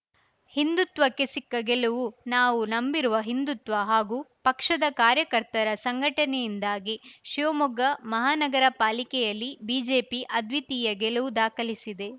ಹಿಂದುತ್ವಕ್ಕೆ ಸಿಕ್ಕ ಗೆಲುವು ನಾವು ನಂಬಿರುವ ಹಿಂದುತ್ವ ಹಾಗೂ ಪಕ್ಷದ ಕಾರ್ಯಕರ್ತರ ಸಂಘಟನೆಯಿಂದಾಗಿ ಶಿವಮೊಗ್ಗ ಮಹಾನಗರ ಪಾಲಿಕೆಯಲ್ಲಿ ಬಿಜೆಪಿ ಅದ್ವಿತೀಯ ಗೆಲುವು ದಾಖಲಿಸಿದೆ